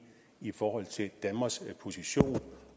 i forhold til danmarks position